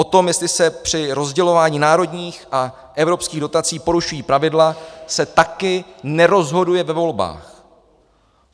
O tom, jestli se při rozdělování národních a evropských dotací porušují pravidla, se taky nerozhoduje ve volbách.